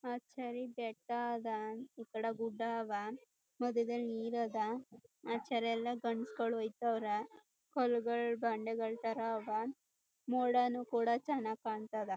ಅಚ್ಚರಿ ಬೆಟ್ಟ ಅದ ಈಕಡ ಗುಡ್ಡ ಆವಾ ಮಧ್ಯದಲ್ ನೀರ್ ಅದ ಅಚರಿಯೆಲ್ಲ ಗಂಡ್ಸಗಳ್ ಹೋಯ್ತರ ಕಲ್ಗಳ್ ಬಂಡೆಗಳ್ ಥರ ಅದ ಮೋಡನು ಕೂಡ ಚನ್ನಾಗ್ ಕಾಣ್ತದ.